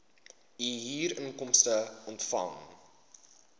u huurinkomste ontvang